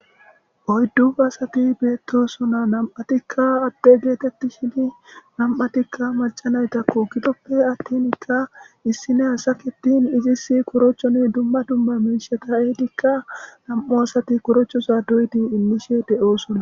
oyddu baasati beettosona nam7atikka adde geetetti shini nam7atikka malcanaytakko kidoppe attinkka issine hasakitin izis korochoni dumma dumma minsha ta edikka nam7o asati korochosa doydi imishe de7oosona